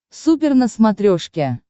супер на смотрешке